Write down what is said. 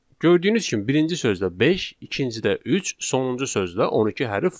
Gördüyünüz kimi birinci sözdə beş, ikincidə üç, sonuncu sözdə 12 hərf var.